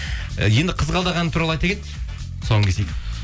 енді қызғалдақ әні туралы айта кет тұсауын кесейік